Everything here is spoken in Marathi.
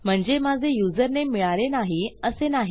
म्हणजे माझे युजरनेम मिळाले नाही असे नाही